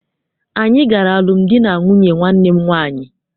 Anyị gara alụmdi na nwunye nwanne m nwaanyị.